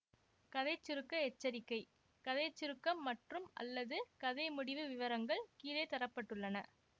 கதை சுருக்க எச்சரிக்கை கதை சுருக்கம் மற்றும்அல்லது கதை முடிவு விவரங்கள் கீழே தர பட்டுள்ளன